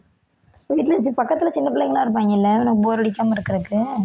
வீட்டில பக்கத்தில சின்னப் பிள்ளைங்க எல்லாம் இருப்பாங்கள்ல உனக்கு bore அடிக்காம இருக்கறதுக்கு